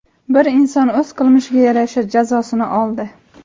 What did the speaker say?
Bir inson o‘z qilmishiga yarasha jazosini oldi.